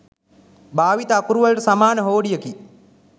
භාවිත අකුරුවලට සමාන හෝඩියකි.